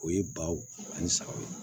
O ye baw ani sagaw